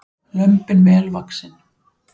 Lömbin vel vaxin